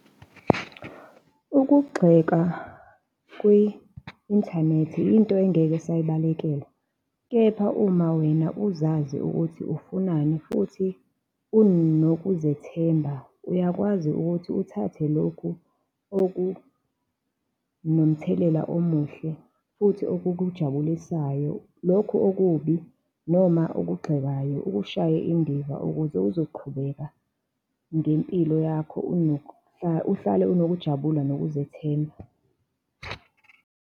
Ukugxeka kwi-inthanethi into engeke sayibalekela, kepha uma wena uzazi ukuthi ufunani futhi unokuzethemba, uyakwazi ukuthi uthathe lokhu okunomthelela omuhle futhi okukujabulisayo. Lokhu okubi noma okugxekayo ukushaye indiva ukuze uzoqhubeka ngempilo yakho uhlale unokujabula nokuzethemba.